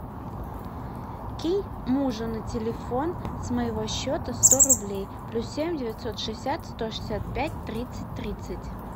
кинь мужу на телефон с моего счета сто рублей плюс семь девятьсот шестьдесят сто шестьдесят пять тридцать тридцать